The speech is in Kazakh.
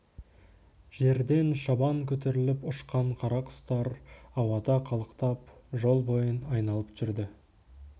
жерден шабан көтеріліп ұшқан қара құстар ауада қалықтап жол бойын айналып жүрді